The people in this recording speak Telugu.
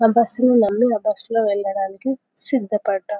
ఆ బస్సు ను నమ్మి ఆ బస్సు లో వెళ్లడానికి సిద్ధపడ్డా.